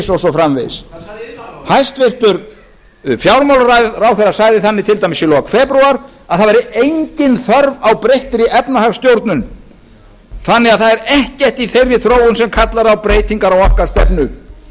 og svo framvegis hvað sagði iðnaðarráðherra hæstvirtur fjármálaráðherra sagði til dæmis í lok febrúar að engin þörf væri á breyttri efnahagsstjórn það væri ekkert í þeirri þróun sem kallaði á breytingar á stefnu okkar